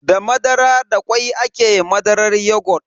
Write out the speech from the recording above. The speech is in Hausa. Da madara da kwai ake madarar yogut.